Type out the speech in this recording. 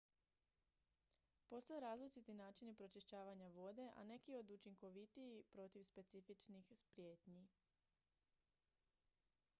postoje različiti načini pročišćavanja vode a neki su učinkovitiji protiv specifičnih prijetnji